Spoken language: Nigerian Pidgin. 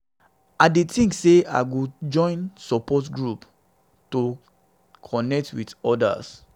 i dey think sey i go join support group to connect with others.